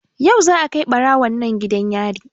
Yau za a kai ɓarawon nan gidan yari